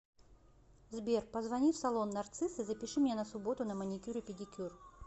сбер позвони в салон нарцисс и запиши меня на субботу на маникюр и педикюр